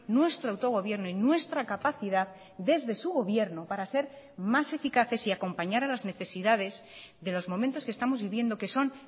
nuestro autogobierno y nuestra capacidad desde su gobierno para ser más eficaces y acompañar a las necesidades de los momentos que estamos viviendo que son